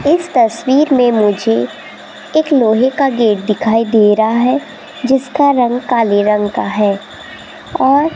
इस तस्वीर में मुझे एक लोहे का गेट दिखाई दे रहा है जिसका रंग काले रंग का है और --